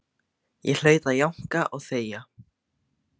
Ég hlaut að jánka og þegja.